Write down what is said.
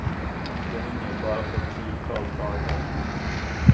Det hänger på bara ett tiotal dagar. punkt